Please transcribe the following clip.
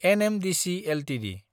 NMDC Ltd